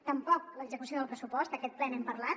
tampoc l’execució del pressupost aquest ple n’hem parlat